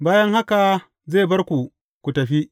Bayan haka zai bar ku, ku tafi.